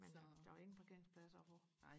men der var der var ingen parkeringspladser og få